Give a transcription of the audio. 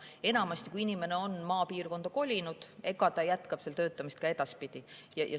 Enamasti, kui inimene on maapiirkonda kolinud, ta jätkab seal töötamist ka edaspidi.